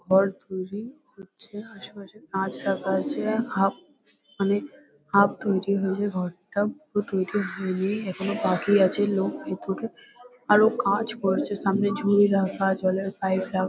ঘর তৈরী হচ্ছে। আশেপাশে কাঁচ রাখা আছে। হাফ মানে হাফ তৈরি হয়েছে ঘরটা। পুরো তৈরি হয়নি এখনো বাকি আছে। লোক ভেতরে আরো কাজ করছে। সামনে ঝুড়ি রাখা। জলের পাইপ রাখা।